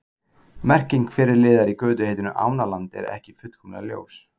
Merking fyrri liðar í götuheitinu Ánaland er ekki fullkomlega ljós.